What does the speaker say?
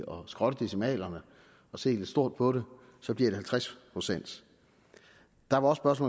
skrotte decimalerne og se lidt stort på det så bliver det halvtreds procent der var også